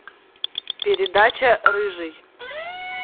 передача рыжий